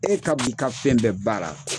E ka bi ka fɛn bɛɛ b'a ra.